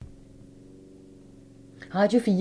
Radio 4